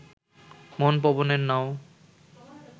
মন পবনের নাও